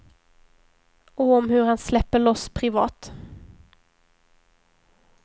Och om hur han släpper loss privat.